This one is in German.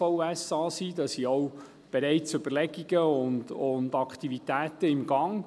diesbezüglich sind auch bereits Überlegungen und Aktivitäten im Gang.